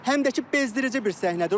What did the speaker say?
Həm də ki, bezdirici bir səhnədir.